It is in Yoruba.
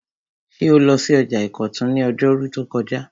Ṣé o lọ sí ọjà ìkọ̀tún ní ọjọ́rú tó kọjá?